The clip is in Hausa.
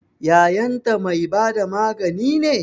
Yayanta mai bada magani ne?